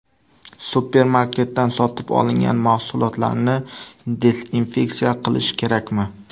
Supermarketdan sotib olingan mahsulotlarni dezinfeksiya qilish kerakmi?.